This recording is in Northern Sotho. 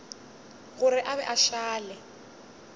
gore a be a šale